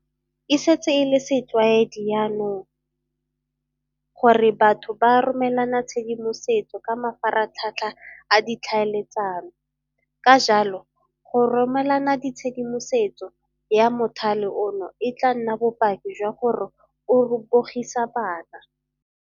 E setse e le setlwaedi jaanong gore batho ba romelana tshedimosetso ka mafaratlhatlha a ditlhaeletsano. Ka jalo, go romelana tshedimosetso ya mothale ono e tla nna bopaki jwa gore o bogisa bana.